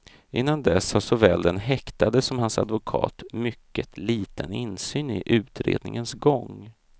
Innan dess har såväl den häktade som hans advokat mycket liten insyn i utredningens gång.